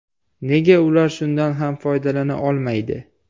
Nega ular shundan ham foydalana olmaydi?